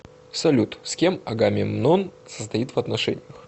салют с кем агамемнон состоит в отношениях